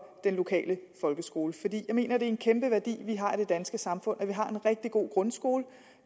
den lokale folkeskole jeg mener det er en kæmpe værdi vi har i det danske samfund at vi har en rigtig god grundskole